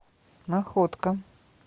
находка